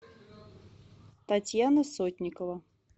татьяна сотникова